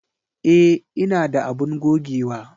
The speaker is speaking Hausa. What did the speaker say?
E, ina da abun gogewa.